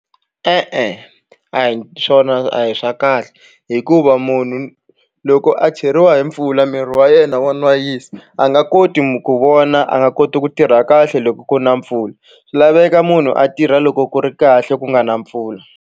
E-e a hi swona a hi swa kahle hikuva munhu loko a cheriwa hi mpfula miri wa yena wa nwayisa a nga koti ku vona a nga koti ku tirha kahle loko ku na mpfula swi laveka munhu a tirha loko ku ri kahle ku nga na mpfula.